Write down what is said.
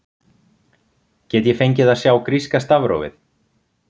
get ég fengið að sjá gríska stafrófið